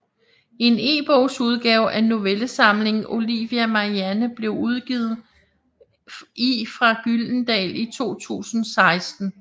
En ebogsudgave af novellesamlingen Olivia Marianne blev udgivet i fra Gyldendal i 2016